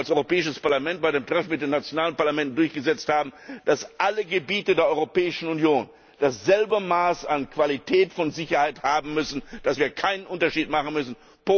So wie wir auch als Europäisches Parlament bei dem Treffen mit den nationalen Parlamenten durchgesetzt haben, dass alle Gebiete der Europäischen Union dasselbe Maß an Sicherheit haben müssen und dass wir keinen Unterschied machen dürfen.